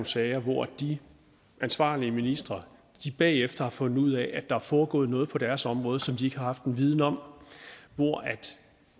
sager hvor de ansvarlige ministre bagefter har fundet ud af at der er foregået noget på deres område som de ikke har haft en viden om hvor